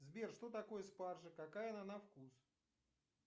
сбер что такое спаржа какая она на вкус